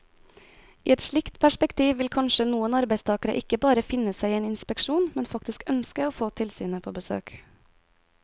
I et slikt perspektiv vil kanskje noen arbeidstagere ikke bare finne seg i en inspeksjon, men faktisk ønske å få tilsynet på besøk.